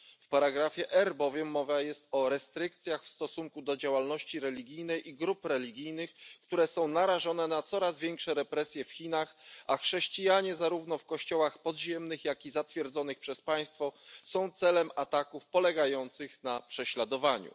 W ustępie R bowiem mowa jest o restrykcjach w stosunku do działalności religijnej i grup religijnych, które są narażone na coraz większe represje w Chinach, a chrześcijanie zarówno w kościołach podziemnych, jak i zatwierdzonych przez państwo są celem ataków polegających na prześladowaniu.